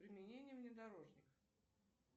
применение внедорожник